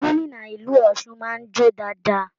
Gómìnà ìlú Ọsún máa n jo dáadáa.